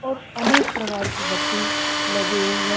और अनेक प्रकार की बत्ती लगे हुई है।